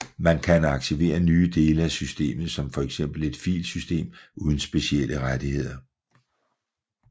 Man kan aktivere nye dele af systemet som for eksempel et filsystem uden specielle rettigheder